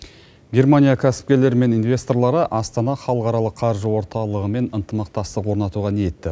германия кәсіпкерлері мен инвесторлары астана халықаралық қаржы орталығымен ынтымақтастық орнатуға ниетті